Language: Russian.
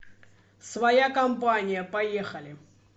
своя компания поехали